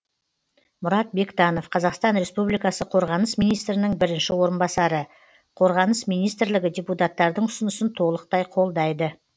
мұрат бектанов қазақстан республикасы қорғаныс министрінің бірінші орынбасары қорғаныс министрлігі депутаттардың ұсынысын толықтай қолдайды